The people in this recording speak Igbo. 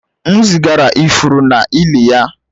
M zigara ifuru n'ili ya